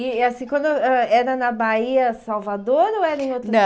E assim, quando ãh era na Bahia Salvador ou era em outro... Não